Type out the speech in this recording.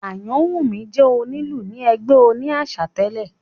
Ayanwunmi jẹ́ onílù ni ẹgbẹ́ òní àṣà tẹ̀lé